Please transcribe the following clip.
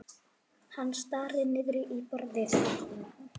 Hann starir niður í borðið.